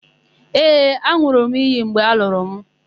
Ee, an̄ụrụ m iyi mgbe a lụrụ mụ.